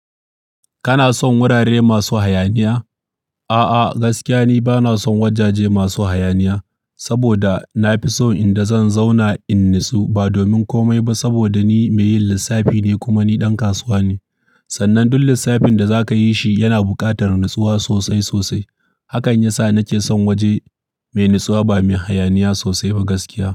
Kana son wurare masu hayaniya? A'a, gaskiya ni bana son wajaje masu hayaniya. Saboda na fi son inda zan zauna in natsu ba domin komai ba, saboda ni mai yin lissafi ne kuma ni ɗan kasuwa ne. Sannan duk lissafin da za ka yi shi yana buƙatar natsuwa sosai sosai. Hakan ya sa na ke son waje mai natsuwa ba mai hayaniya sosai ba gaskiya.